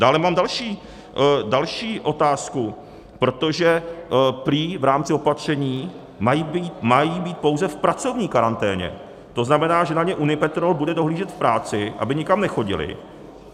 Dále mám další otázku, protože prý v rámci opatření mají být pouze v pracovní karanténě, to znamená, že na ně Unipetrol bude dohlížet v práci, aby nikam nechodili.